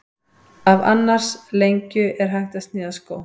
Af annars lengju er hægt að sníða skó.